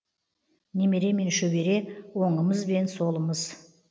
немере мен шөбере оңымыз бен солымыз